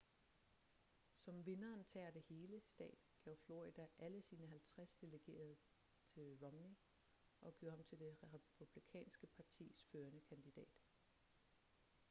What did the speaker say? som vinderen tager det hele-stat gav florida alle sine halvtreds delegerede til romney og gjorde ham til det republikanske partis førende kandidat